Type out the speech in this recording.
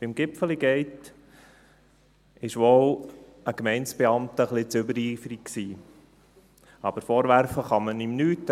Beim «Gipfeli Gate» war wohl ein Gemeindebeamter ein wenig zu übereifrig, aber vorwerfen kann man ihm nichts.